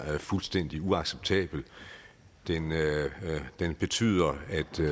fuldstændig uacceptabel den betyder